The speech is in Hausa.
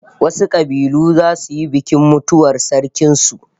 Wasu kabilu zasu yi bikin mutuwar sarkin su